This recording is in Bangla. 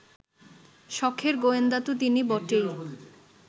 সখের গোয়েন্দা তো তিনি বটেই